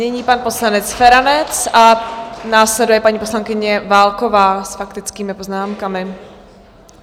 Nyní pan poslanec Feranec a následuje paní poslankyně Válková s faktickými poznámkami.